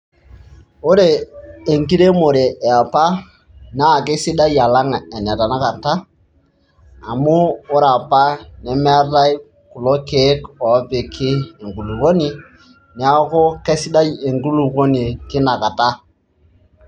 Ore enkiremore e apa naa kesidai alang' ene tanakata amu ore apa nemeetai kulo keek oopiki enkulukuoni, neeku kesidai enkulukuoni tina kata.